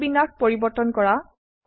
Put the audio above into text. স্থিতিবিন্যাস পৰিবৰ্তন কৰা